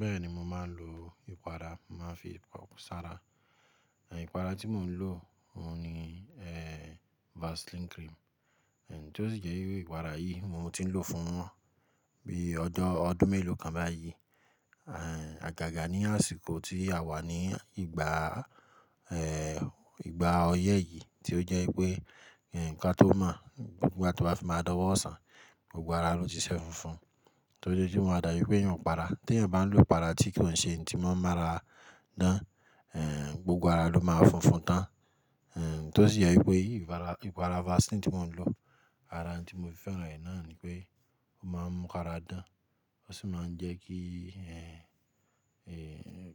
Bẹ́ẹ̀ni mo máa ń lo ìpara, màá fi sára. Ìpara tí mò n lò òhun ni ẹn vaselin cream, ẹn tó sì jẹ pé ìpara yìí mo tí n lòó fún bí ọjọ ọdún mélòó kan báyìí agaga ní àsìkò tí a wà ní ìgbà a ìgbà ọyẹ́ yìí tí ó jẹ́ pé ẹn kí tó mọ̀ nígbà tí o báa fi máa dọwọ́ ọsàn gbogbo ara ló ti ṣẹ́ funfun. Torí o tí maa dábi pé èèyàn o para. Tí èèyàn bá ń lo ìpara tí kò ṣe ohun tí máa n mára á dán, ẹn gbogbo ara ló máa funfun tán. Ti o sí jé wípé ìpara ìpara vaselin tí mo n lò, ara oun tí mo fi féran rẹ náà ni wípé o máa ń mú kára dán ó sì máa n jé kí ara en,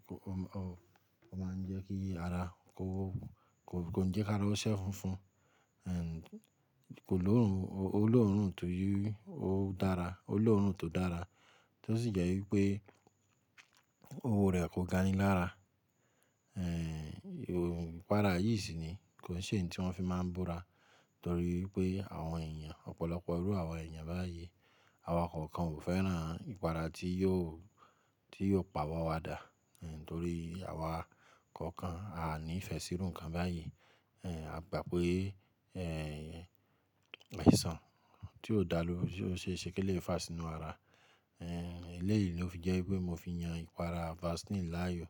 o ma ń jẹ́ kí ara, kò si kí n jẹ́ kí ara o ṣẹ́ funfun Kò lorun o lóòrùn ti o dara. O lóòrun tó dára, tí ó sì jẹ́ wípé òwo rẹ̀ kò gani lára. Ìpara yìí sì ni kò ki n ṣe ohun tí wọ́n fi máa ń bóra torí wípé àwọn èèyàn ọ̀pọ̀lọpọ̀ irú àwọn èèyàn báyìí, àwa kọ̀ọ̀kan ò fẹ́ràn ìpara tí yóò pàwọ́ wa dà. Torí àwa kọ̀ọ̀kan á ní ìfẹ́ sí irú nǹkan báyìí, a gbà pé ẹ̀n àìsàn tí ó dá ló ṣeèṣe ki eléyìí fà sínú ara. Èléyìí ló fi jẹ́ wípé mo fi yan ìpara vaseline láàyò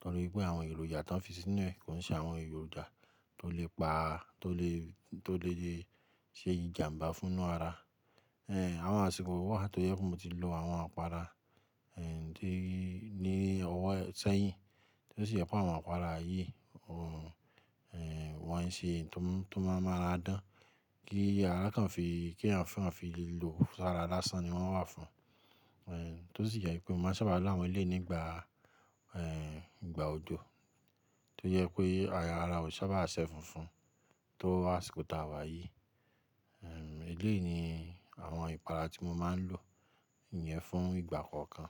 torí wípé àwọn èròjà tí wọ́n fi sínú rẹ̀ kò n ṣe àwọn èròjà tó lè pa, tó letó lè ṣe ìjàǹbá fún inú ara. Àwọn àsìkò wà tó jẹ́ pé mo ti lò àwọn ìpara ní ọ̀wọ́ sẹ́yìn tó sì jẹpe àwọn ìpara yìí wọ́n n ṣe ohun tó máa mu araa dán kí ara kàn fi, ki èèyàn kàn fi lò sára lásán ni wọ́n wà fún. Tó sì jẹ wípé mo máa sábà lo àwọn eléyìí nígbà òjò tó jẹ́ pé ara ò n sáábà ṣẹ́ funfun tó àsìkò tá a wà yìí. Èléyìí ni àwọn ìpara tí mo máa ń lò yẹn fún ìgbà kọ̀ọ̀kan.